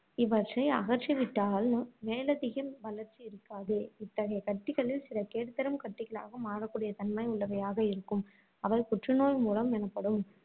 இவற்றை அகற்றிவிட்டால் மேலதிக வளர்ச்சி இருக்காது. இத்தகைய கட்டிகளில் சில கேடுதரும் கட்டிகளாக மாறக்கூடிய தன்மை உள்ளவையாக இருக்கும். அவை புற்று நோய் மூலம் எனப்படும்.